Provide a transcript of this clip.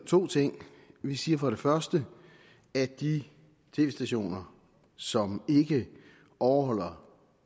to ting vi siger for det første at de tv stationer som ikke overholder